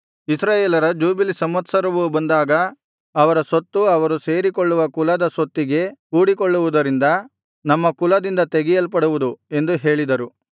ಇಸ್ರಾಯೇಲರ ಜೂಬಿಲಿ ಸಂವತ್ಸರವು ಬಂದಾಗ ಅವರ ಸ್ವತ್ತು ಅವರು ಸೇರಿಕೊಳ್ಳುವ ಕುಲದ ಸ್ವತ್ತಿಗೆ ಕೂಡಿಕೊಳ್ಳುವುದರಿಂದ ನಮ್ಮ ಕುಲದಿಂದ ತೆಗೆಯಲ್ಪಡುವುದು ಎಂದು ಹೇಳಿದರು